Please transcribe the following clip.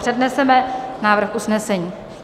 Předneseme návrh usnesení.